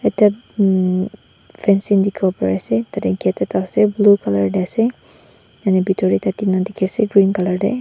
ekta umm fencing dikhiwo parease tatae gate ekta ase blue colour tae ase yatae bitor tae ekta tina dikhiase green colour tae.